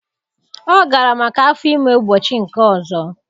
Ọ gara maka afọ ime ụbọchị nke ọzọ